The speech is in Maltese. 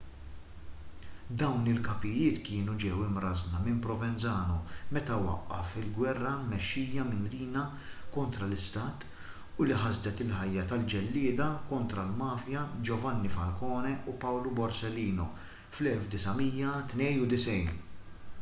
dawn il-kapijiet kienu ġew imrażżna minn provenzano meta waqqaf il-ġwerra mmexxija minn riina kontra l-istat u li ħasdet il-ħajja tal-ġellieda kontra l-mafja giovanni falcone u paolo borsellino fl-1992